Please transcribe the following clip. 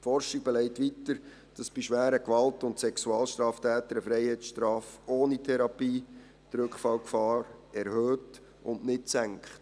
Die Forschung belegt weiter, dass bei schweren Gewalt- und Sexualstraftätern eine Freiheitsstrafe ohne Therapie die Rückfallgefahr erhöht und nicht senkt.